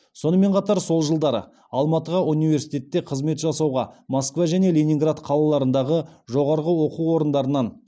сонымен қатар сол жылдары алматыға университетте қызмет жасауға москва және ленинград қалаларындағы жоғары оқу орындарынан